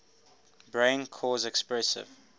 brain cause expressive